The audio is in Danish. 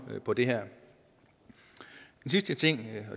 på det her den sidste ting det